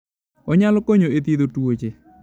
Onyalo konyo e thiedho tuoche.